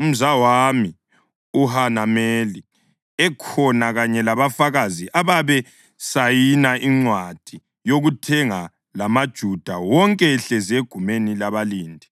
umzawami uHanameli ekhona kanye labafakazi ababesayine incwadi yokuthenga lamaJuda wonke ehlezi egumeni labalindi.